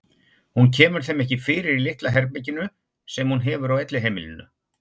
Hún kemur þeim ekki fyrir í litla herberginu sem hún hefur á elliheimilinu.